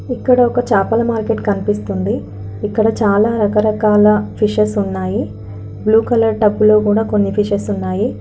ఇక్కడొక చాపల మార్కెట్ కనిపిస్తుంది ఇక్కడ చాలా రకరకాల ఫిషెస్ ఉన్నాయి .బ్లూ కలర్ టబ్బు లో కూడా కొన్ని ఫిషెస్ ఉన్నాయి.